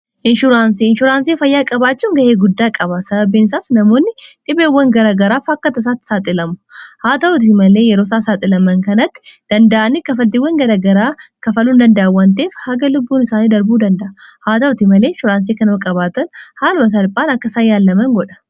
Inshuraansii, inshuraansii fayyaa qabaachuun ga'ee guddaa qaba. Sababbiin isaas namoonni dhibeewwan garagaraa fakkataan isaatti saaxilamu. Haa ta'uuti malee yeroo isaan saaxilaman kanatti danda'ani kafaltiiwwan garagaraa kafaluun hin danda'ani waan ta'eef haga lubbuun isaanii darbuu danda'a. Haa ta'uuti malee insuraansii kana namni qabaatee haala salphaan akka isaan yaalaman godha.